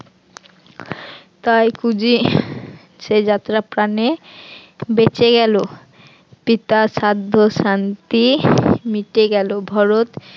তাই কুজি সে যাত্রা প্রাণে বেঁচে গেল পিতার শ্রাদ্ধ শান্তি মিটে গেল ভরত